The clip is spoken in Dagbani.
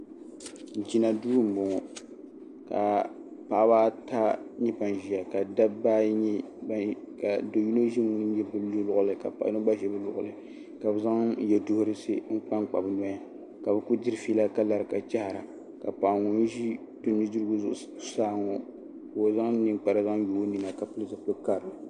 Jinaduu-bɔŋɔ ka paɣiba ata nyɛ ban ʒiya ka do' yino ʒi paɣ' yino luɣili ka paɣ' yino ɡba ʒi do' yino luɣili ka bɛ zaŋ yɛduhirisi n-kpa n-kpa bɛ nɔya ka bɛ ku diri fiila ka lara ka chahira ka paɣa ŋun ʒi nudiriɡu zuɣusaa ŋɔ zaŋ niŋkpara zaŋ yo o nina ka pili zipil' karili